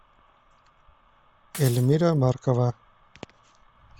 эльмира маркова